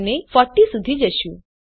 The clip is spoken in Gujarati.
અને 40 સુધી જશું